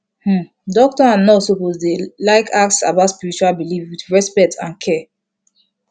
hmm doctor and nurse suppose dey like ask about spiritual belief with respect and care